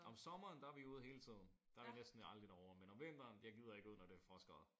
Om sommeren der er vi ude hele tiden. Der er vi næsten aldrig derovre. Men om vinteren jeg gider ikke at ud når det er frostgrader